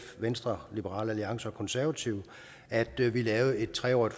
venstre liberal alliance og konservative at vi vi lavede et tre årig